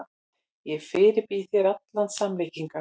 Ég fyrirbýð þér allar samlíkingar.